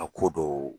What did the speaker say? A ko dɔw